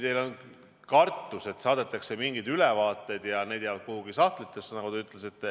Teil on kartus, et saadetakse mingeid ülevaateid, aga need jäävad kuhugi sahtlitesse.